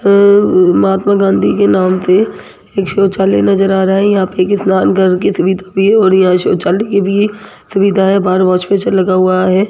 महात्मा गांधी के नाम पे एक शौचालय नजर आ रहा है यहां पर स्नान करके इतनी यहां शौचालय की भी सुविधाएं बाहर एक लगा हुआ है।